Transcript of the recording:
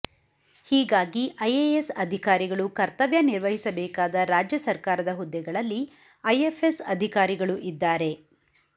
ಹೀಗಾಗಿ ಐಎಎಸ್ ಅಧಿಕಾರಿಗಳು ಕರ್ತವ್ಯ ನಿರ್ವಹಿಸಬೇಕಾದ ರಾಜ್ಯ ಸರ್ಕಾರದ ಹುದ್ದೆಗಳಲ್ಲಿ ಐಎಫ್ಎಸ್ ಅಧಿಕಾರಿಗಳು ಇದ್ದಾರೆ